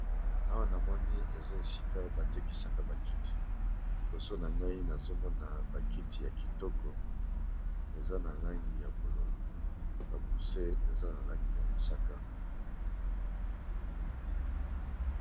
Awa na moni eza esika batekisaka bakiti liboso na ngai nazomona bakiti ya kitoko eza na langi ya bololo bakuse eza na langi ya mosaka.